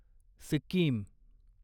Sikkim